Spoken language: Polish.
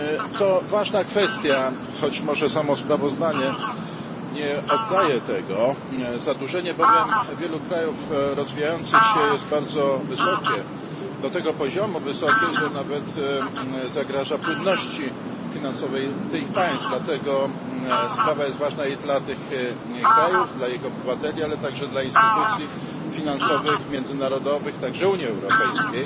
To ważna kwestia, choć może samo sprawozdanie nie oddaje tego, bowiem zadłużenie wielu krajów rozwijających się jest bardzo wysokie, do tego poziomu wysokie, że nawet zagraża płynności finansowej tych państw, dlatego sprawa jest ważna i dla tych krajów, dla ich obywateli, ale także dla instytucji finansowych, międzynarodowych, także Unii Europejskiej.